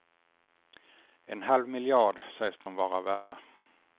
En halv miljard sägs de vara värda.